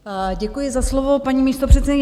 Děkuji za slovo, paní místopředsedkyně.